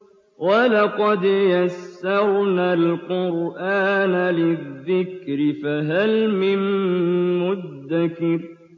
وَلَقَدْ يَسَّرْنَا الْقُرْآنَ لِلذِّكْرِ فَهَلْ مِن مُّدَّكِرٍ